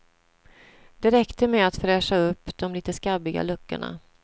Det räckte med att fräscha upp de lite skabbiga luckorna.